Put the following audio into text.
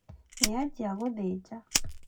Nĩanjia gũthĩnja